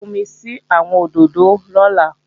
Lọ fúnmi sí àwọn òdòdó lọ́la!